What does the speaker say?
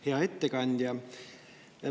Hea ettekandja!